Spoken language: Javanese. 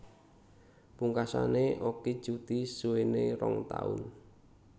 Pungkasane Okky cuti suwene rong taun